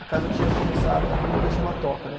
A casa tinha começado, a República chama Toca, né?